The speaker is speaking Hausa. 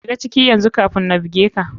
Shiga ciki yanzu kafin na buge ka.